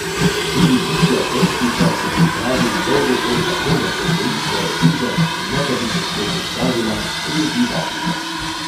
Tudi bičja trstnica se pripravi na dolgo pot tako, da podvoji svojo težo, in ne da bi se sploh ustavila, odleti v Afriko.